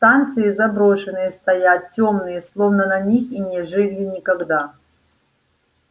станции заброшенные стоят тёмные словно на них и не жили никогда